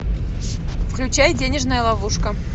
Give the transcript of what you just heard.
включай денежная ловушка